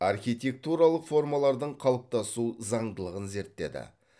архитектуралық формалардың қалыптасу заңдылығын зерттеді